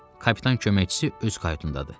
Kapitan köməkçisi öz kayutundadır.